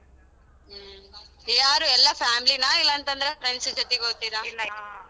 ಹ್ಮ್, ಯಾರು ಎಲ್ಲ family ನ ಇಲ್ಲಂತಂದ್ರೆ friends ಗ್ ಜೊತೆಗ್ ಹೋಗ್ತಿರಾ .